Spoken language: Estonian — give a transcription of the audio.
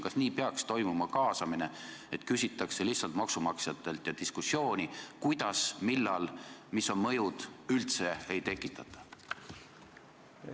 Kas nii peaks toimuma kaasamine, et maksumaksjatelt lihtsalt küsitakse ja diskussiooni, kuidas, millal, mis on mõjud, üldse ei tekitata?